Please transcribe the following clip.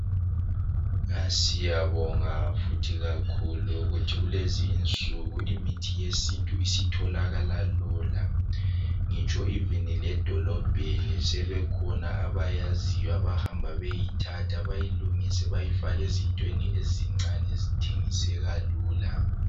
Siyabonga futhi kakhulu ukuthi kulezinsuku imithi yesintu isitholakala lula ngitsho loba ledolobheni sebekhona abayaziyo abahamba beyeyithatha bayilungise bayifake ezintweni ezincane ezithengiseka lula.